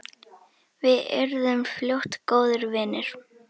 Við urðum fljótt góðir vinir.